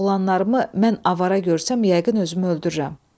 Oğlanlarımı mən avara görsəm, yəqin özümü öldürrəm.